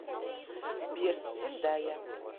сбер зендая